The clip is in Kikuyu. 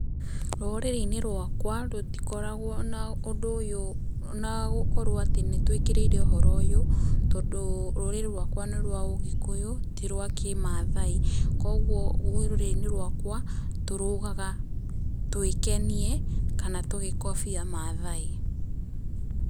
Rũrĩrĩ-inĩ rwakwa rũtikoragwo na ũndũ ũyũ ona gũkorwo atĩ nĩ twĩkĩrĩire ũhoro ũyũ, tondũ rũrĩrĩ rwakwa nĩ rwa ũgĩkũyũ ti rwa kĩ Mathai. Koguo rũrĩrĩ-inĩ rwakwa tũrũgaga twĩkenie kana tũgĩkobia Mathai.